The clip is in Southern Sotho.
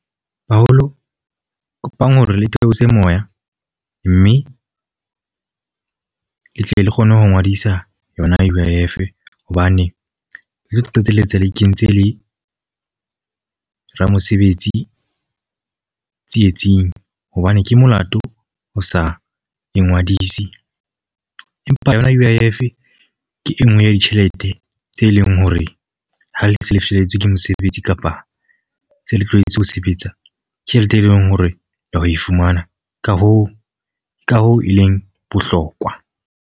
Baholo, kopang hore le theose moya. Mme le tle le kgone ho ngodisa yona U_I_F. Hobane le tlo qetelletse le kentse le ramosebetsi tsietsing. Hobane ke molato ho sa e ngwadisi. Empa yona U_I_F ke e nngwe ya ditjhelete tse leng hore ha le se le felletswe ke mosebetsi kapa se le tlohetse ho sebetsa. Ke tjhelete e leng hore le ya ho e fumana. Ka hoo, ka hoo e leng bohlokwa.